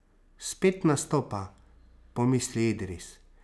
Spet nastopa, pomisli Idris.